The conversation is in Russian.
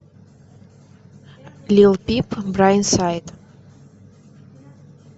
лил пип брайтсайд